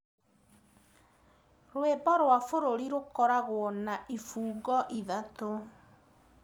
Rũĩmbo rwa bũrũri rũkoragũo na ibungo ithatũ.